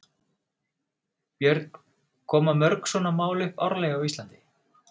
Björn: Koma mörg svona mál upp árlega á Íslandi?